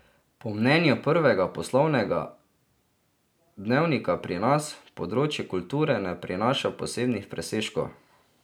Po mnenju prvega poslovnega dnevnika pri nas, področje kulture ne prinaša posebnih presežkov.